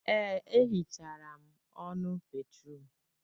Ee, e hichara m ọnụ bédrụum.